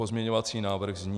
Pozměňovací návrh zní: